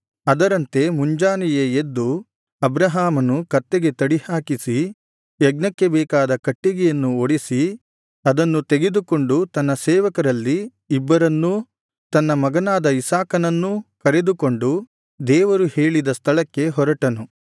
ಅದರಂತೆ ಮುಂಜಾನೆಯೇ ಎದ್ದು ಅಬ್ರಹಾಮನು ಕತ್ತೆಗೆ ತಡಿ ಹಾಕಿಸಿ ಯಜ್ಞಕ್ಕೆ ಬೇಕಾದ ಕಟ್ಟಿಗೆಯನ್ನು ಒಡೆಸಿ ಅದನ್ನು ತೆಗೆದುಕೊಂಡು ತನ್ನ ಸೇವಕರಲ್ಲಿ ಇಬ್ಬರನ್ನೂ ತನ್ನ ಮಗನಾದ ಇಸಾಕನನ್ನೂ ಕರೆದುಕೊಂಡು ದೇವರು ಹೇಳಿದ ಸ್ಥಳಕ್ಕೆ ಹೊರಟನು